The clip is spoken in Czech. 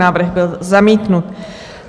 Návrh byl zamítnut.